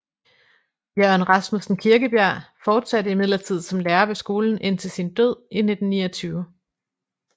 Jørgen Rasmussen Kirkebjerg fortsatte imidlertid som lærer ved skolen indtil sin død i 1929